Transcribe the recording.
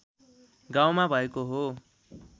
गाउँमा भएको हो